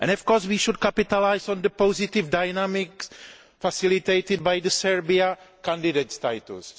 Of course, we should capitalise on the positive dynamics facilitated by Serbia's candidate status.